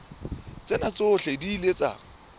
tsena tsohle di ile tsa